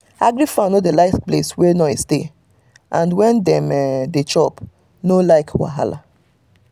agric fowl dey no like place wey noise dey and when dem um dey chop dem no like wahala um